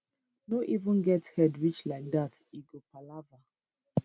no even get head reach like dat e go palava